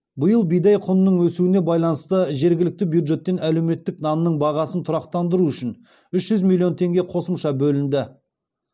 биыл бидай құнының өсуіне байланысты жергілікті бюджеттен әлеуметтік нанның бағасын тұрақтандыру үшін үш жүз миллион теңге қосымша бөлінді